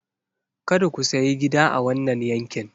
Kada ku sayi gida a wannan yankin!